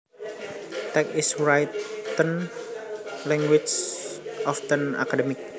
Text is written language often academic